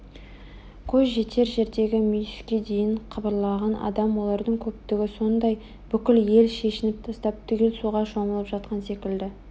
көз жетер жердегі мүйіске дейін қыбырлаған адам олардың көптігі сондай бүкіл ел шешініп тастап түгел суға шомылып жатқан секілді